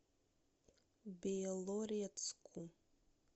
белорецку